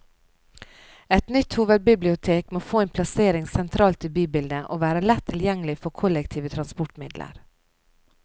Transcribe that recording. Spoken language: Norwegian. Et nytt hovedbibliotek må få en plassering sentralt i bybildet, og være lett tilgjengelig fra kollektive transportmidler.